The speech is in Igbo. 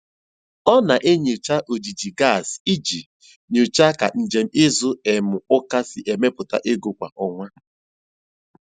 Ọ na-enyocha ojiji gaasị iji nyochaa ka njem izu um ụka si emetụta ego kwa ọnwa.